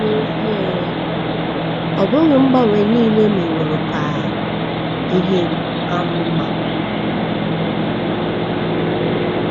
N’ezie, um ọ bụghị mgbanwe nile meworo ka um ihe ka mma um.